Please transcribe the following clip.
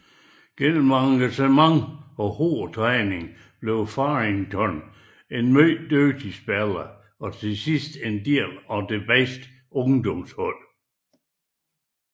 Gennem engagement og hård træning blev Fearrington en mere dygtig spiller og til sidste en del af det bedste ungdomshold